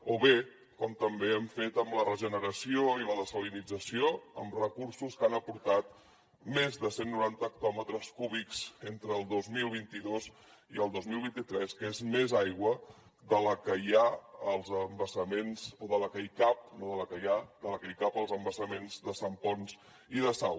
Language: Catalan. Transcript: o bé com també hem fet amb la regeneració i la dessalinització amb recursos que han aportat més de cent noranta hectòmetres cúbics entre el dos mil vint dos i el dos mil vint tres que és més aigua de la que hi ha als embassaments o de la que hi cap no de la que hi ha de la que hi cap als embassaments de sant ponç i de sau